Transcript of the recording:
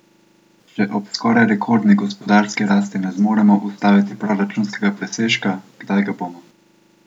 Če ob skoraj rekordni gospodarski rasti ne zmoremo ustvariti proračunskega presežka, kdaj ga bomo?